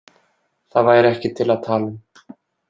Það væri ekki til að tala um.